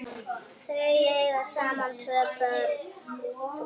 Þau eiga saman tvö börn.